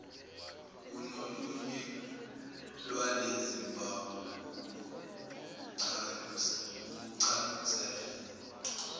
unolunye lwalezimpawu ukucanuzela